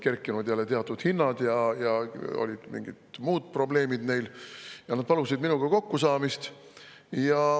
Jälle olid teatud hinnad kerkinud ja mingid muud probleemid olid neil ja nad palusid minuga kokkusaamist.